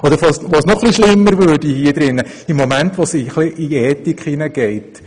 Noch ein wenig schlimmer würde es dort, wo das Ganze in den Bereich der Ethik hineinreicht.